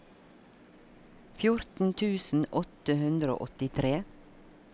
fjorten tusen åtte hundre og åttitre